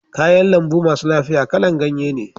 Kayan lambu masu lafiya kala'n ganye ne.